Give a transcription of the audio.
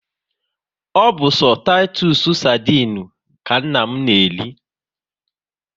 Ọ bụ sọ Titusu sardinu ka nna m na eri